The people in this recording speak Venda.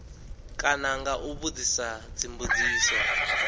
kana nga u vhudzisa dzimbudziso